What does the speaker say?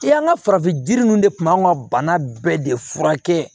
I y'an ka farafin jiri ninnu de tun b'an ka bana bɛɛ de fura kɛ